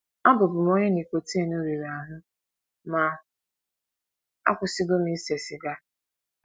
Abụbu m onye nicotin riri ahụ, ma akwụsịwo m ise siga.